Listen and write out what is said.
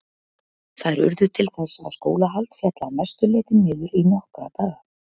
Þær urðu til þess að skólahald féll að mestu leyti niður í nokkra daga.